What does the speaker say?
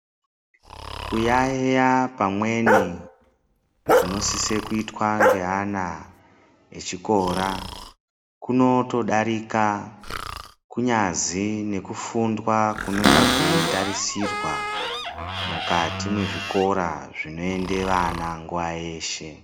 Kuyayeya pamweni kunosiswa kuitwa neana echikora kunotodarika kunyazi nekufundwa kunonga kweitarisirwa mukati mezvikora zvinoenda vana nguwa yeshe.